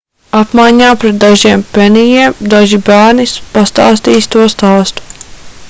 apmaiņā pret dažiem penijiem daži bērni pastāstīs to stāstu